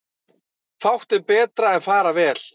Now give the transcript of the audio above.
Fátt er betra en fara vel.